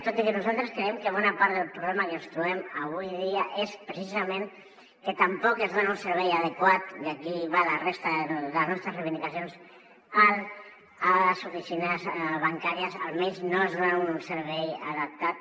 tot i que nosaltres creiem que bona part del problema que ens trobem avui dia és precisament que tampoc es dona un servei adequat i aquí va la resta de les nostres reivindicacions a les oficines bancàries almenys no es dona un servei adaptat